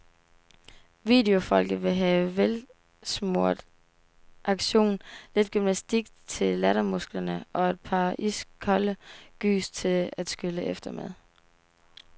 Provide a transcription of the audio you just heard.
Videofolket vil have velsmurt action, lidt gymnastik til lattermusklerne og et par iskolde gys til at skylle efter med.